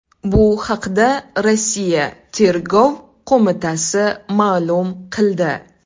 Bu haqda Rossiya Tergov qo‘mitasi ma’lum qildi .